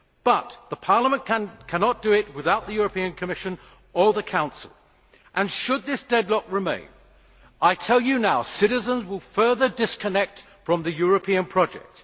But Parliament cannot do it without the Commission or the Council, and should this deadlock remain, I tell you now that citizens will further disconnect from the European project.